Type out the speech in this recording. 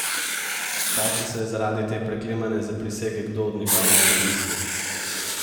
Kaj, če se je zaradi te preklemane zaprisege kdo od njegovih premislil?